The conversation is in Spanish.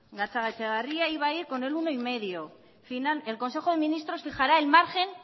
gatzagaetxebarria iba a ir con el uno coma cinco el consejo de ministros fijará el margen